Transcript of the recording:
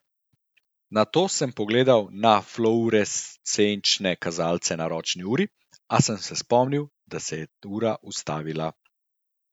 Nato sem pogledal na fluorescenčne kazalce na ročni uri, a sem se spomnil, da se je ura ustavila.